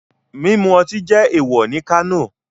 Mimu oti jẹ ewọ ni Kano